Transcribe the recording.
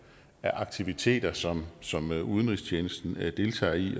af aktiviteter som som udenrigstjenesten deltager i